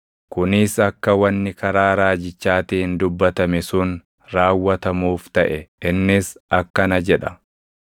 Kunis akka wanni karaa raajichaatiin dubbatame sun raawwatamuuf taʼe; innis akkana jedha: